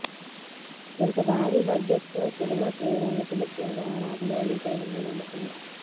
ఇంత భారీ బడ్జెట్ తో సినిమా చేయటానికి ముఖ్యంగా రాజమౌళి పై ఉన్న నమ్మకమే